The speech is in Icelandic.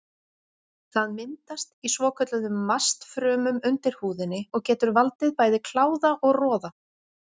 Það myndast í svokölluðum mastfrumum undir húðinni og getur valdið bæði kláða og roða.